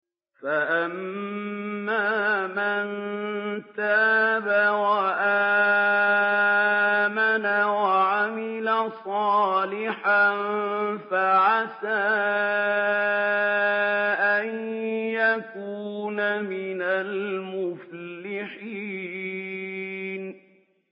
فَأَمَّا مَن تَابَ وَآمَنَ وَعَمِلَ صَالِحًا فَعَسَىٰ أَن يَكُونَ مِنَ الْمُفْلِحِينَ